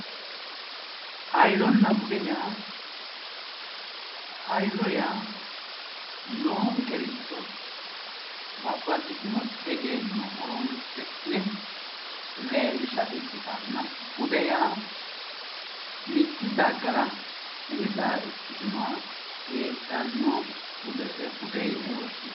Hoyyonna bude yaa hayyo yaa noonkericho babbaxitino egenno horonsi'ne leellisha ikkitanna bude yaa mitte dagara umiseha ikkinoha heedhanoha budese yine woshshinanni.